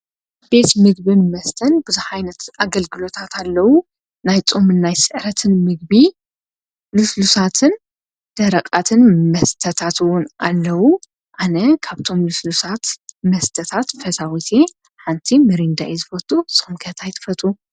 ቤት ምግቢን መስተን ብዙሕ ዓይነት ኣገልግሎታት ኣለዉ። ናይ ፆም፣ ናይ ስዕረትን ምግቢ ልስሉሳትን ደረቓትን መስተታት እውን ኣለዉ። ኣነ ካብቶም ልስሉሳት መስተታት ፈታዊት እየ። ሓንቲ ምሬንዳ እየ ዝፈቱ እስኩም ከ እንታይ ትፈትው?